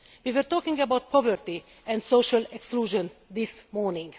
We were talking about poverty and social exclusion this morning.